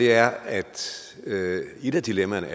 er at et af dilemmaerne